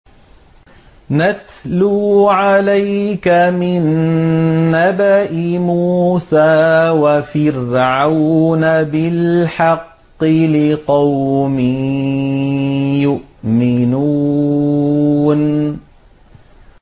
نَتْلُو عَلَيْكَ مِن نَّبَإِ مُوسَىٰ وَفِرْعَوْنَ بِالْحَقِّ لِقَوْمٍ يُؤْمِنُونَ